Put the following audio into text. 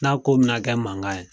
N'a ko mina kɛ mankan ye